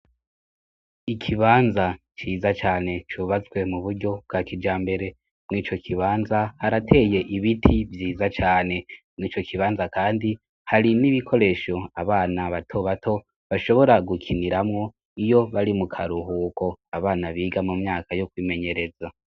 Ikibanza ciza cane cubatswe mu buryo bwa kijambere, mwico kibanza harateye ibiti byiza cane, mwico kibanza kandi hari n'ibikoresho abana bato bato bashobora gukiniramwo iyo bari mu karuhuko abana biga mu myaka yo kwimenyereza.